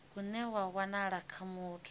une wa wanala kha muthu